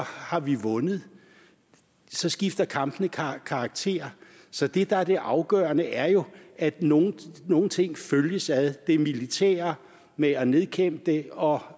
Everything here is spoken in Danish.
har vi vundet så skifter kampene karakter så det der er det afgørende er jo at nogle nogle ting følges ad det militære med at nedkæmpe det og